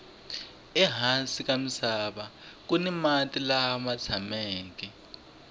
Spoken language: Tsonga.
ehansi ka misava kuni mati lama tshameke